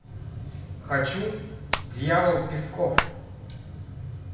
хочу дьявол песков